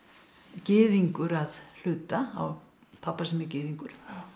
gyðingur að hluta á pabba sem er gyðingur